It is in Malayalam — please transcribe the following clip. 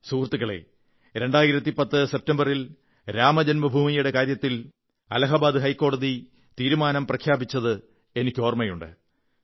സുഹൃത്തുക്കളേ 2010 സെപ്റ്റംബറിൽ രാമജന്മഭൂമിയുടെ കാര്യത്തിൽ അലാഹബാദ് ഹൈക്കോടതി തീരുമാനം പ്രഖ്യാപിച്ചത് എനിക്കോർമ്മയുണ്ട്